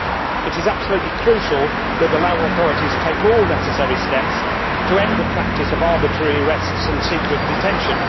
It is absolutely crucial that the Lao authorities take all necessary steps to end the practice of arbitrary arrests and secret detention.